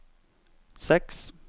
seks